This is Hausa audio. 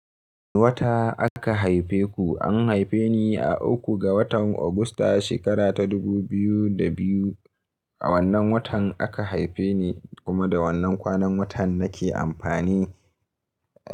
Wata aka haife ku? An haife ni a uku ga watan Ogusta, shekara ta dubu biyu da biyu. A wannan watan aka haife ni kuma da wannan kwanan watan nake amfani.